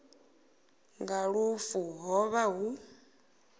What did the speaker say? nga lufu ho vha hu